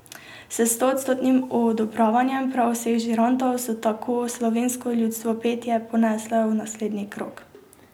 S stoodstotnim odobravanjem prav vseh žirantov so tako slovensko ljudsko petje ponesle v naslednji krog.